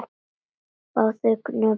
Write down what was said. Báðir hröpuðu þeir við göngu.